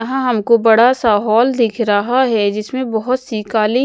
यहाँ हमको बड़ा सा हॉल दिख रहा है जिसमें बहुत सी काली --